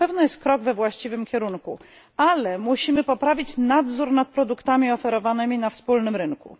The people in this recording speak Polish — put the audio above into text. Na pewno jest to krok we właściwym kierunku. Musimy poprawić nadzór nad produktami oferowanymi na wspólnym rynku.